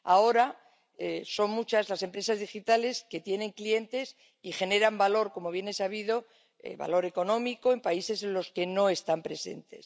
Ahora son muchas las empresas digitales que tienen clientes y generan valor —como bien es sabido—, valor económico, en países en los que no están presentes.